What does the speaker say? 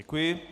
Děkuji.